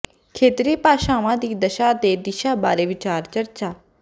ਖੇਤਰੀ ਭਾਸ਼ਾਵਾਂ ਦੀ ਦਸ਼ਾ ਤੇ ਦਿਸ਼ਾ ਬਾਰੇ ਵਿਚਾਰ ਚਰਚਾ